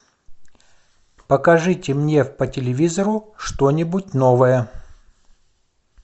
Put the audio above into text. покажите мне по телевизору что нибудь новое